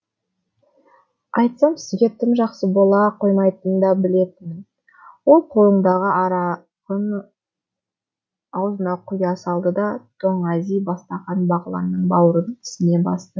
айтсам сізге тым жақсы бола қоймайтынын да білетінмін ол қолыңдағы арағын аузына құя салды да тоңази бастаған бағланның бауырын тісіне басты